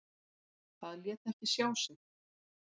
Það lét ekki sjá sig.